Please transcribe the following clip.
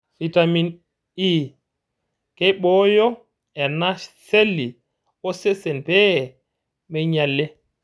Fitamen E:Keibooyo ena seli osesen pee meinyali.